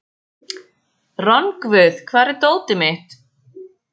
Rongvuð, hvar er dótið mitt?